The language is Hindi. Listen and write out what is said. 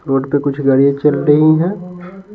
रोड पर कुछ गाड़ियाँ चल रही हैं।